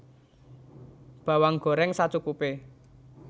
Bawang goreng sacukupe